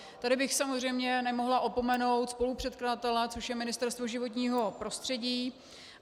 Tady bych samozřejmě nemohla opomenout spolupředkladatele, což je Ministerstvo životního prostředí.